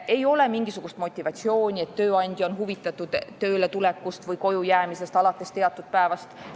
Ei ole mingisugust motivatsiooni, et tööandja on huvitatud tööletulekust või kojujäämisest alates teatud päevast.